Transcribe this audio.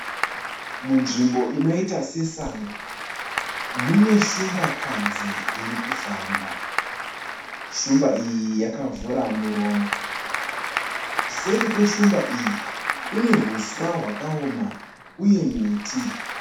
Munzvmbo inoita sesango, muneshumbakadzi irikufamba. Shumba iyi yakavhura muromo. Seri kweshumba iyi kune huswa hwakaona uye miti.